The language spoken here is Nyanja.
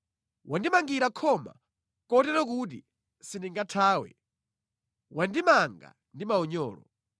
Wandimangira khoma kotero kuti sindingathawe, wandimanga ndi maunyolo.